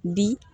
Bi